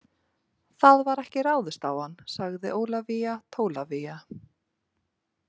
Það var ekki ráðist á hann, sagði Ólafía Tólafía.